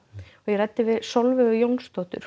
ég ræddi við Sólveigu Jónsdóttir